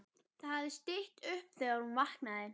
Það hafði stytt upp þegar hún vaknaði.